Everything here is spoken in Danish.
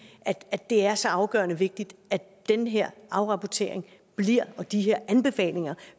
at det er så afgørende vigtigt at den her afrapportering og de her anbefalinger